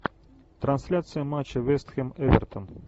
трансляция матча вест хэм эвертон